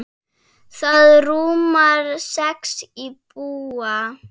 Það rúmar sex íbúa.